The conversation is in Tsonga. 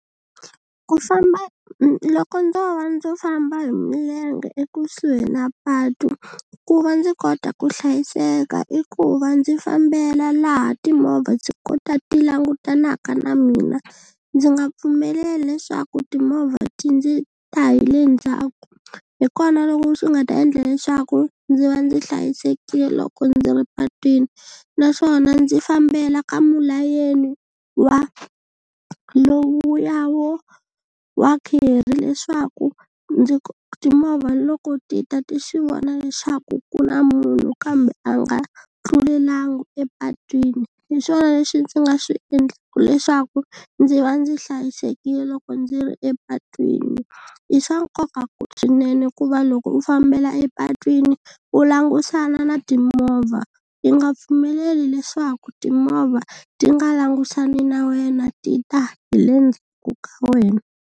Ku famba loko ndzo va ndzi famba hi milenge ekusuhi na patu ku va ndzi kota ku hlayiseka i ku va ndzi fambela laha timovha ndzi kota ti langutanaka na mina ndzi nga pfumeleli leswaku timovha ti ndzi ta hi le ndzhaku hi kona loko swi nga ta endla leswaku ndzi va ndzi hlayisekile loko ndzi ri patwini naswona ndzi fambela ka mulayeni wa lowuya wo wa kerry leswaku ndzi timovha loko ti ta ti swi vona leswaku ku na munhu kambe a nga tlulelanga epatwini hi swona leswi ndzi nga swi endlaku leswaku ndzi va ndzi hlayisekile loko ndzi ri epatwini i swa nkoka ku swinene ku va loko u fambela epatwini u langusana na timovha i nga pfumeleli leswaku timovha ti nga langusani na wena ti ta hi le ndzhaku ka wena.